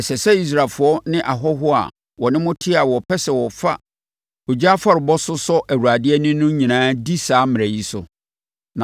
“ ‘Ɛsɛ sɛ Israelfoɔ ne ahɔhoɔ a wɔne mo teɛ a wɔpɛ sɛ wɔfa ogya afɔrebɔ so sɔ Awurade ani no nyinaa di saa mmara yi so.